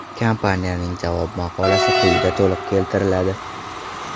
Kompaniyaning javob maqolasi quyida to‘liq keltiriladi.